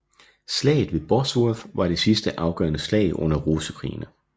Slaget ved Bosworth var det sidste afgørende slag under Rosekrigene